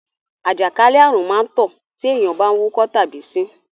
àjàkálẹ̀ àrùn má ń tàn tí èèyàn bá wúkọ́ tàbí ṣín.